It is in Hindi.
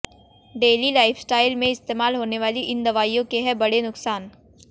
डेली लाइफस्टाइल में इश्तेमाल होने वाली इन दवाइयों के हैं बड़े नुकसान